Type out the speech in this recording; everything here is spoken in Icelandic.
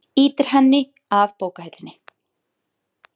Ýtir henni að bókahillunum.